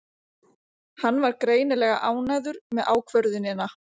Hann var greinilega ánægður með ákvörðunina.